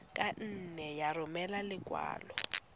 ka nne ya romela lekwalo